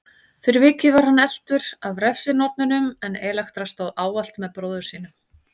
Fyrir vikið var hann eltur af refsinornunum en Elektra stóð ávallt með bróður sínum.